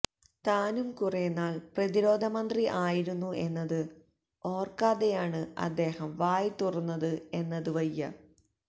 താനും കുറെനാൾ പ്രതിരോധ മന്ത്രി ആയിരുന്നു എന്നത് ഓർക്കാതെയാണ് അദ്ദേഹം വായ് തുറന്നത് എന്നത് വയ്യ